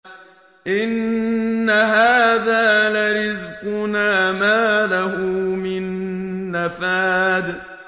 إِنَّ هَٰذَا لَرِزْقُنَا مَا لَهُ مِن نَّفَادٍ